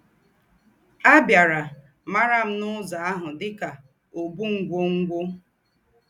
À bịàrā màrá m n’ǔzọ̄ àhụ̀ dị kà “ ǒbù̄ ngwọ̀ngwọ̀. ”